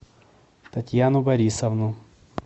татьяну борисовну